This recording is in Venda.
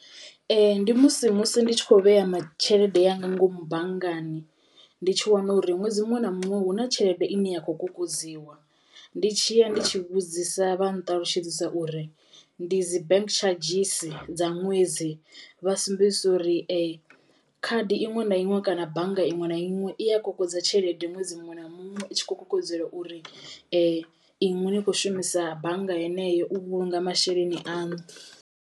Ndi musi musi ndi tshi kho vhea ma tshelede yaṋu ngomu banngani ndi tshi wana uri ṅwedzi muṅwe na muṅwe huna tshelede ine ya kho kokodziwa. Ndi tshi ya ndi tshi vhudzisa vha nṱalutshedzisa uri ndi dzi bank tshadzhisi dza ṅwedzi, vha sumbedzisa uri khadi iṅwe na iṅwe kana bannga iṅwe na iṅwe i a kokodza tshelede ṅwedzi muṅwe na muṅwe i tshi khou kokodzelwa uri inwi ni kho shumisa bannga yeneyo u vhulunga masheleni aṋu.